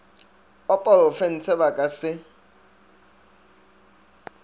wa porofense ba ka se